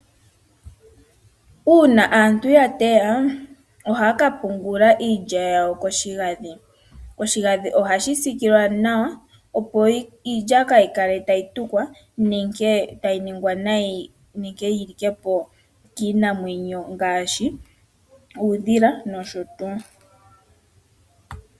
Una aantu ya teya, ohaya ka pungula iilya yawo koshigadhi. Oshigadhi ohashi sikilwa nawa opo iilya kayi kale tayi tukwa nenge tayi ningwa nayi, nenge yi likepo kiinamwenyo ngashi uudhila noshotu.